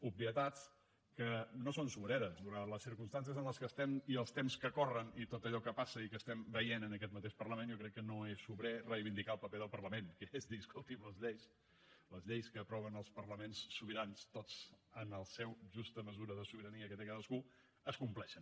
obvietats que no són sobreres donades les circumstàncies en les que estem i els temps que corren i tot allò que passa i que estem veient en aquest mateix parlament jo crec que no és sobrer reivindicar el paper del parlament que és dir escolti’m les lleis les lleis que aproven els parlaments sobirans tots en la seva justa mesura de sobirania que té cadascun es compleixin